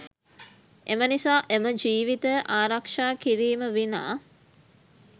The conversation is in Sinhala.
එම නිසා එම ජීවිතය ආරක්ෂා කිරීම විනා